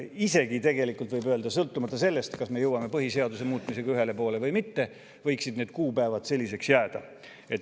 Isegi võib öelda, et sõltumata sellest, kas me jõuame põhiseaduse muutmisega ühele poole või mitte, võiksid need kuupäevad selliseks jääda.